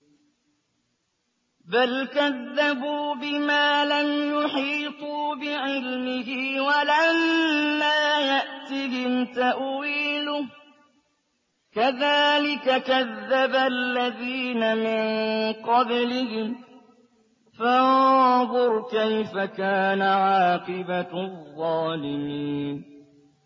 بَلْ كَذَّبُوا بِمَا لَمْ يُحِيطُوا بِعِلْمِهِ وَلَمَّا يَأْتِهِمْ تَأْوِيلُهُ ۚ كَذَٰلِكَ كَذَّبَ الَّذِينَ مِن قَبْلِهِمْ ۖ فَانظُرْ كَيْفَ كَانَ عَاقِبَةُ الظَّالِمِينَ